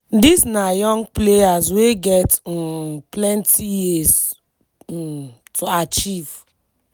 dis na young players wey get um planti years um to achieve.